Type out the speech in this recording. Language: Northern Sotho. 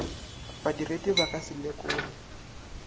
badiredi ba ka se lekole